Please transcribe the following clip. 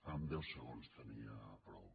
amb deu segons en tenia prou